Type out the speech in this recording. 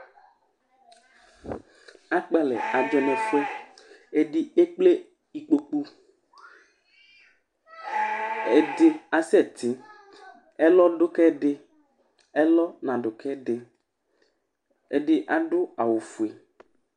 akpalɛ du nu utu ɛdi ékplé ikpokpu ɛdi asɛ ti ɛlɔ du kɛ di ɛlɔ na du kɛ di ɛdi adu awu fué